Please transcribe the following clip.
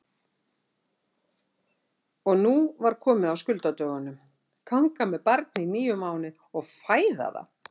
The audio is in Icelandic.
Og nú var komið að skuldadögunum: Ganga með barn í níu mánuði og fæða það!